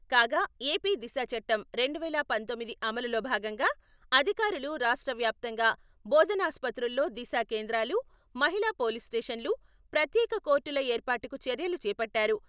కాగా ఎపి దిశా చట్టం రెండు వేల పంతొమ్మిది అమలులో భాగంగా అధికారులు రాష్ట్ర వ్యాప్తంగా బోధనా ఆస్పత్రిలో దిశా కేంద్రాలు, మహిళా పోలీస్ స్టేషన్లు, ప్రత్యేక కోర్టుల ఏర్పాటుకు చర్యలు చేపట్టారు.